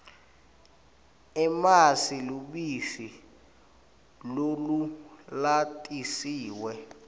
emasi lubisi lolulatisiwe